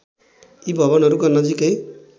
यी भवनहरूका नजिकै